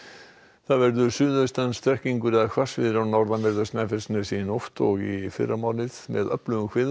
það verður suðaustan strekkingur eða hvassviðri á norðanverðu Snæfellsnesi í nótt og í fyrramálið með öflugum